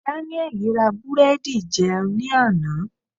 Danieli ra búrẹ́dì jẹun ní àná.